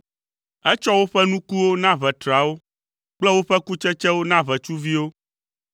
Etsɔ woƒe nukuwo na ʋetrawo kple woƒe kutsetsewo na ʋetsuviwo.